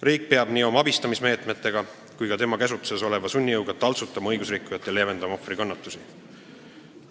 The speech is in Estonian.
Riik peab nii oma abistamismeetmetega kui ka tema käsutuses oleva sunnijõuga taltsutama õigusrikkujat ja leevendama ohvri kannatusi.